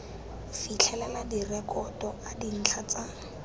fitlhelela direkoto a dintlha tsa